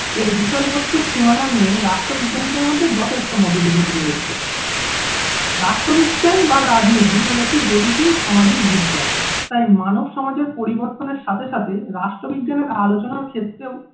এর বিষয়বস্তু সীমানা নিয়ে রাষ্ট্র বিজ্ঞানীদের মধ্যে যথেষ্ট মতবিরোধ রয়েছে। রাষ্ট্রবিজ্ঞান বা রাজনীতি হলো একটি গতিশীল সমাজিক বিজ্ঞান, তাই মানব সমাজের পরিবর্তনের সাথে সাথে রাষ্ট্রবিজ্ঞান আলোচনার ক্ষেত্রও